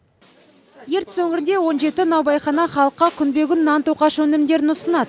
ертіс өңірінде он жеті наубайхана халыққа күнбе күн нан тоқаш өнімдерін ұсынады